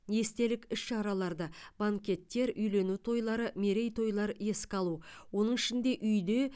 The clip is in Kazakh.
естелік іс шараларды банкеттер үйлену тойлары мерейтойлар еске алу оның ішінде үйде